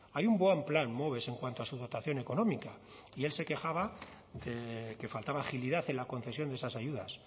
hay un buen plan moves en cuanto a su dotación económica y él se quejaba de que faltaba agilidad en la concesión de esas ayudas